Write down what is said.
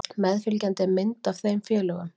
Meðfylgjandi er mynd af þeim félögum.